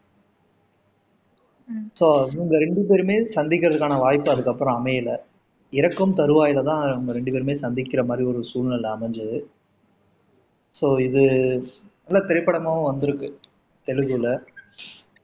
show அவங்க ரெண்டு பேருமே சந்திக்கிறதுக்கான வாய்ப்பு அதுக்கப்புறம் அமையல இறக்கும் தருவாயில தான் அவங்க ரெண்டு பேருமே சந்திக்கிற மாதிரி ஒரு சூழ்நிலை அமைஞ்சது சோ இது திரைப்படமாவும் வந்திருக்கு தெலுங்குல